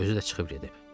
Özü də çıxıb gedib.